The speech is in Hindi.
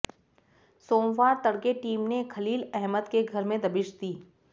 सोमवार तड़के टीम ने खलील अहमद के घर में दबिश दी